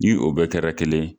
Nii o bɛɛ kɛra kelen yen.